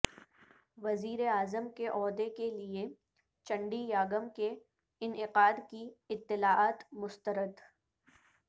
وزیراعظم کے عہدہ کیلئے چنڈی یاگم کے انعقادکی اطلاعات مسترد